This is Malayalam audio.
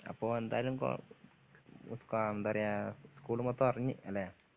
അപ്പൊ എന്തായാലും കൊർ സ് എന്താ പറയാ സ്ക്കൂള് മൊത്തം അറിഞ്ഞ് അല്ലെ